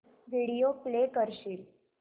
video play करशील